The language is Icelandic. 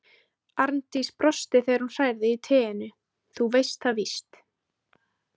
Arndís brosti þegar hún hrærði í teinu: Þú veist það víst.